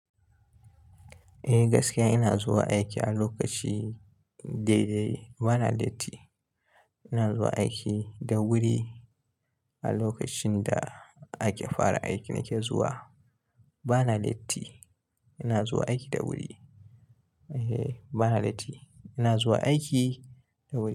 Eh gaskiya ina zuwa aiki a lokaci dai dai bana latti. Ina zuwa aiki da wuri. A lokacin da ake fara aiki nake zuwa bana latti. Ina zuwa aiki da wuri. Ehh bana latti. Ina zuwa aiki da wuri.